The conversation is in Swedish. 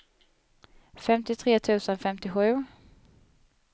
femtiotre tusen femtiosju